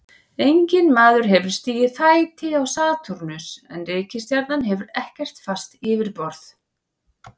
Enginn maður hefur stigið fæti á Satúrnus en reikistjarnan hefur ekkert fast yfirborð.